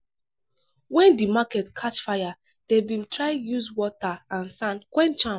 wen di market catch fire dem bin try use water and sand quench am.